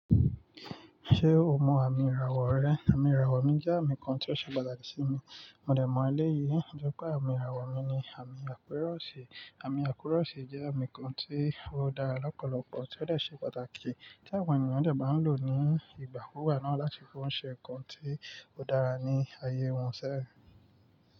Ṣé o mọ àmì ìràwọ̀ rẹ? Àmì ìràwọ̀ mi jẹ́ àmì kan tí ó ṣe pàtàkì sí mi. Mo dẹ̀ mọ eléyi bí pé àmì ìràwọ̀ mi ni àmì àpéròṣè. Àmì àpéròṣè jẹ́ àmì kan tí ó dára lọ́pọ̀lọpọ̀ tí ó dẹ̀ ṣe pàtàkì tí àwọn ènìyàn dẹ̀ máa ń lò ní ìgbàkúùgbà náà láti fi ṣe nǹkan tí ó dára ní ayé wọn sẹ́yìn.